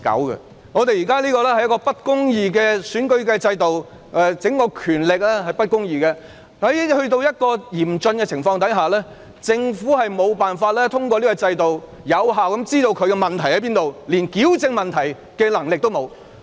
由於現時的選舉制度並不公義，權力也不公義，所以遇上嚴峻的情況時，政府無法透過制度有效得知政府的問題所在，以致連矯正問題的能力也沒有。